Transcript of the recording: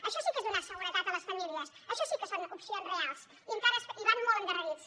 això sí que és donar seguretat a les famílies això sí que són opcions reals i van molt endarrerits